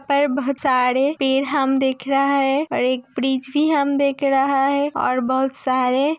यहा पर बोहोत सारे पेड़ हम देख रहा है और एक ब्रिज भी हम देख रहा है और बोहोत सारे --